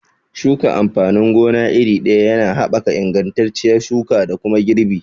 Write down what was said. Shuka amfanin gona iri ɗaya yana haɓaka ingantacciyar shuka da kuma girbi